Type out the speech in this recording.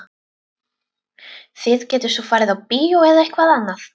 Þið getið svo farið á bíó eða eitthvað annað.